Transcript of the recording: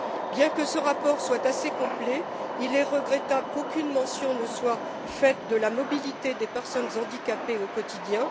Bien que ce rapport soit assez complet, il est regrettable qu'aucune mention ne soit faite de la mobilité des personnes handicapées au quotidien.